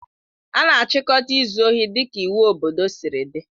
A na-achịkọta izu ohi dịka iwu obodo siri dị.